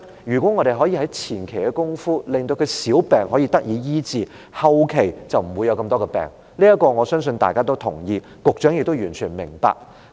如果政府可以在前期的工作上，令香港人的小病得以醫治，香港人後期便不會患上更多疾病，我相信大家也同意這點，局長也完全明白。